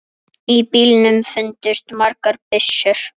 Í bílnum fundust margar byssur.